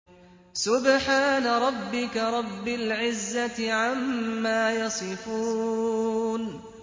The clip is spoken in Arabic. سُبْحَانَ رَبِّكَ رَبِّ الْعِزَّةِ عَمَّا يَصِفُونَ